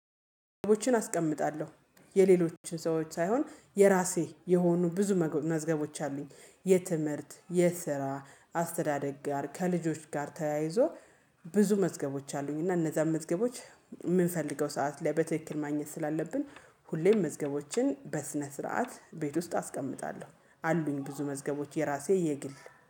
መዝገቦችን አስቀምጣለሁ የሌሎችን ሰዎች ሳይሆን የራሴ የሆኑ ብዙ መገ መዝገቦች አሉኝ። የትምህርት የስራ አስተዳደግ ጋር ከልጆች ጋር ተያይዞ ብዙ መዝገቦች አሉኝ እና እነዛን መዝገቦች የምንፈልገው ሰዓት ላይ በትክክል ማግኘት ስላለብን። ሁሌም መዝገቦችን በስነ ስርዓት ቤት ውስጥ አስቀምጣለሁ። አሉኝ ብዙ መዝገቦች የራሴ የግል